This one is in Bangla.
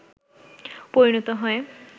পরিণত হয়